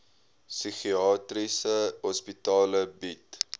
psigiatriese hospitale bied